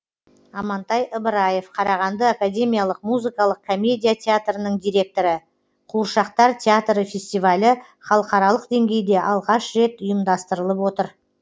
амантай ыбыраев қарағанды академиялық музыкалық комедия театрының директоры қуыршақтар театры фестивалі халықаралық деңгейде алғаш рет ұйымдастырылып отыр